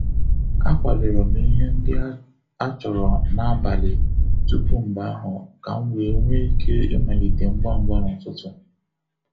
A kwadoro m ihe ndị achọrọ n'abalị tupu mgbe ahụ ka m wee nwee ike ịmalite ngwa ngwa n'ụtụtụ.